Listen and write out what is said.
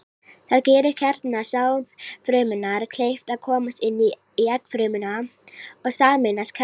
Það gerir kjarna sáðfrumunnar kleift að komast inn í eggfrumuna og sameinast kjarna hennar.